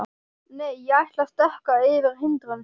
Nei, ég ætla að stökkva yfir hindrun.